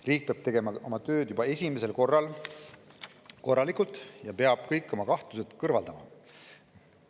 Riik peab tegema oma tööd juba esimesel korral korralikult ja peab kõik kahtlused kõrvaldama.